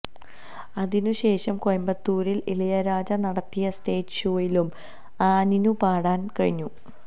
അതിനു ശേഷം കോയമ്പത്തൂരില് ഇളയരാജ നടത്തിയ സ്റ്റേജ് ഷോയിലും ആനിനു പാടാന് കഴിഞ്ഞു